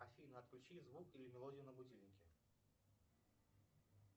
афина отключи звук или мелодию на будильнике